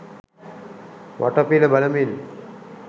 වටපිට බලමින්